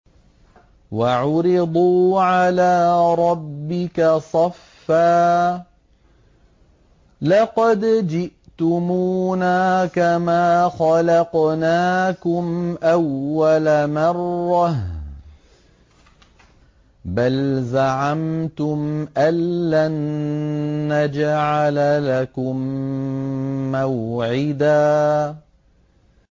وَعُرِضُوا عَلَىٰ رَبِّكَ صَفًّا لَّقَدْ جِئْتُمُونَا كَمَا خَلَقْنَاكُمْ أَوَّلَ مَرَّةٍ ۚ بَلْ زَعَمْتُمْ أَلَّن نَّجْعَلَ لَكُم مَّوْعِدًا